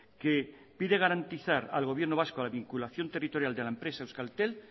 que pide garantizar al gobierno vasco a la vinculación territorial de la empresa euskaltel